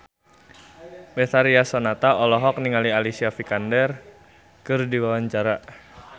Betharia Sonata olohok ningali Alicia Vikander keur diwawancara